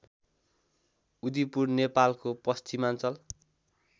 उदिपुर नेपालको पश्चिमाञ्चल